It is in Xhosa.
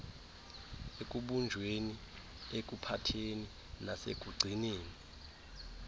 ekubunjweni ekuphatheni nasekugcineni